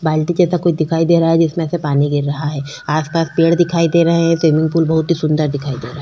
बाल्टी जैसा कुछ दिखाई दे रहा है जिसमें से पानी गिर रहा है। आस पास पेड़ दिखाई दे रहे हैं। स्विमिंग पूल बहुत ही सुंदर दिखाई दे रहा है ।